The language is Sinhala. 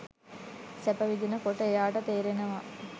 සැප විඳින කොට එයාට තේරෙනවා